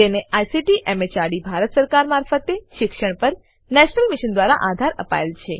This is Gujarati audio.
જેને આઈસીટી એમએચઆરડી ભારત સરકાર મારફતે શિક્ષણ પર નેશનલ મિશન દ્વારા આધાર અપાયેલ છે